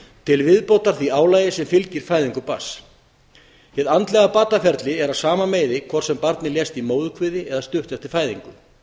til viðbótar því álagi sem fylgir fæðingu barns hið andlega bataferli er af sama meiði hvort sem barnið lést í móðurkviði eða stuttu eftir fæðingu